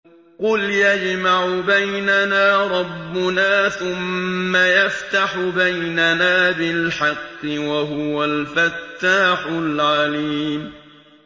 قُلْ يَجْمَعُ بَيْنَنَا رَبُّنَا ثُمَّ يَفْتَحُ بَيْنَنَا بِالْحَقِّ وَهُوَ الْفَتَّاحُ الْعَلِيمُ